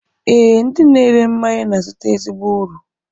Ee, ndị na-ere mmanya na-azụta ezigbo uru